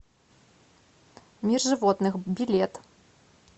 мир животных билет